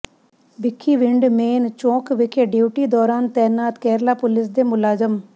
Bhikhiwind main ਚੌਕ ਵਿਖੇ duty ਦੌਰਾਨ ਤੈਨਾਤ ਕੇਰਲਾ ਪੁਲਿਸ ਦੇ ਮੁਲਾਜਮ